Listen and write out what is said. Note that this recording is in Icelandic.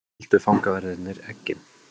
Földu fangaverðirnir eggin?